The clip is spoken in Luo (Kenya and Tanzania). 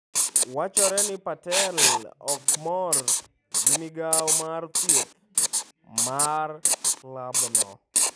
Wachore ni Patel ok mor gi migawo mar thieth mar klabno.